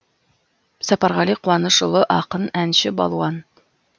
сапарғали қуанышұлы ақын әнші балуан